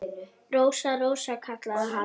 Rósa, Rósa, kallaði hann.